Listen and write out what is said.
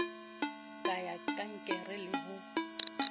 ka ya kankere le ho